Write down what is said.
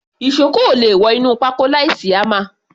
Ìṣó kò le wọ inú pákó láìsí hámà.